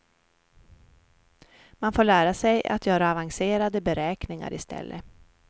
Man får lära sig att göra avancerade beräkningar i stället.